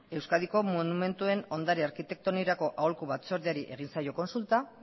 euskadiko monumentuen ondare arkitektoniorako aholku batzordeari egin zaio kontsulta